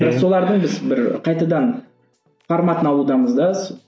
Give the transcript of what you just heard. біз солардың біз бір қайтадан форматын алудамыз да